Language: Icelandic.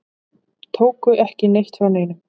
Tóku ekki neitt frá neinum.